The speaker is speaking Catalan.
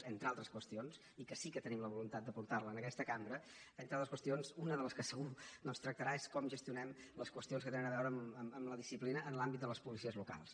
entre altres qüestions i que sí que tenim la voluntat de portar la a aquesta cambra entre altres qüestions una de les que segur doncs tractarà és com gestionem les qüestions que tenen a veure amb la disciplina en l’àmbit de les policies locals